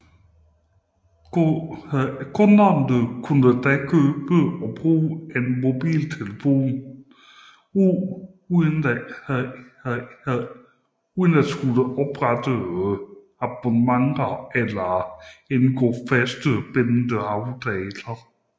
Kunderne kunne da købe og bruge en telefon uden at skulle oprette abonnementer eller indgå bindende aftaler